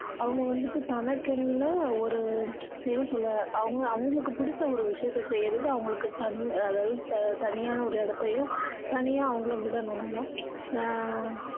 அவங்க வந்துட்டு தனக்குன்னு ஒரு என்ன சொல்ல அவங்க~அவங்களுக்கு பிடிச்ச ஒரு விஷயத்த செய்யுறது அவங்களுக்கு தனிமை அதாவது தனியான ஒரு இடத்தையும் தனியா அவங்கள விடணும் நல்லா ஆஹ்